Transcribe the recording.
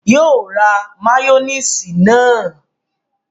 Yóò ra máyónísì náà